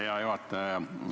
Hea juhataja!